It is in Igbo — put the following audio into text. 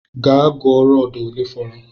Gaa gụọ rọdu olee fọrọ!